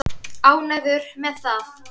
Ánægður með það?